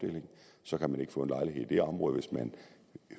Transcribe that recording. så kan man ikke få en lejlighed i det område hvis man